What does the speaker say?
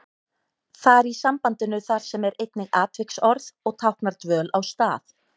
Þar í sambandinu þar sem er einnig atviksorð og táknar dvöl á stað.